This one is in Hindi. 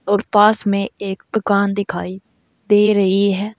और पास में एक दुकान दिखाई दे रही है।